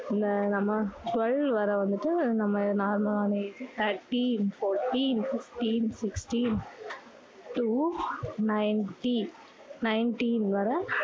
இந்த நம்ம twelve வர வந்துட்டு நம்ம normal லான age thirteen forteen fifteen sixteen to ninteen nineteen வர